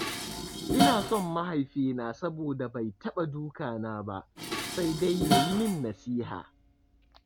Ina son mahaifina saboda bai taɓa duka na ba, sai dai yayi min nasiha.